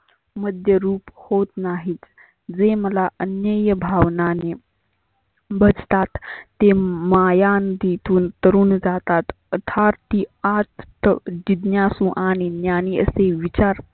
मध्यरुप होत नाहीत. जे मला अन्यय भावनाने बघतात ते मायांन तिथून तरुन जातात. अथार्ती आत जिज्ञासु आणि ज्ञानी असे विचार